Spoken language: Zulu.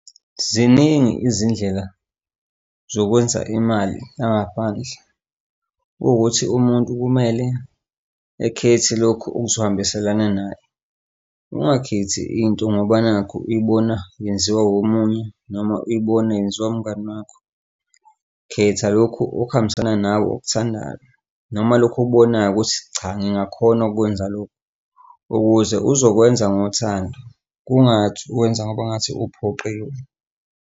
Ziningi izindlela zokwenza imali la ngaphandle. Kuwukuthi umuntu kumele ekhethe lokhu okuzohambiselana naye, ungakhipha into ngoba nakhu ibona yenziwa omunye noma ibona yenziwa imngani wakho, khetha lokhu okuhambisana nawe, okuthandayo noma lokhu okubonayo ukuthi cha ngingakhona okukwenza lokhu ukuze uzokwenza ngothando. Kungathi wenza ngoba ngathi uphoqiwe.